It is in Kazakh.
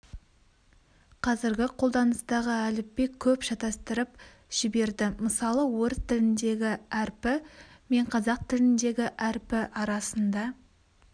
қазіргі қолданыстағы әліпби көп шатастырып жіберді мысалы орыс тіліндегі әрпі мен қазақ тіліндегі әрпі арасында